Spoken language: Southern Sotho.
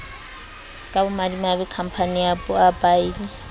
ka bomadimabe khampane ya boabiele